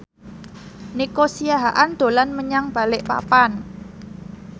Nico Siahaan dolan menyang Balikpapan